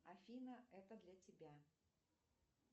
афина это для тебя